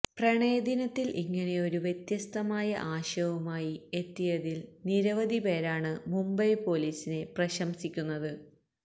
പ്രണയദിനത്തില് ഇങ്ങനെയൊരു വ്യത്യസ്തമായ ആശയുമായി എത്തിയതില് നിരവധി പേരാണ് മുംബൈ പോലീസിനെ പ്രശംസിക്കുന്നത്